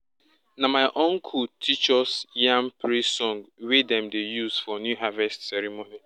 na my uncle teach us yam praise song wey dem dey use for new harvest ceremony.